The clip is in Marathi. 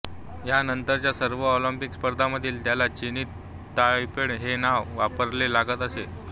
ह्या नंतरच्या सर्व ऑलिंपिक स्पर्धांमध्ये त्याला चिनी ताइपेइ हे नाव वापरावे लागत आहे